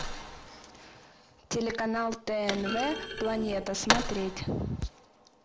телеканал тнв планета смотреть